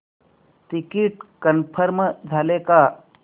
ticket confirm झाले का